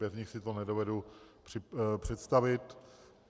Bez nich si to nedovedu představit.